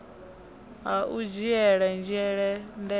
ha u dzhiele nzhele ndeme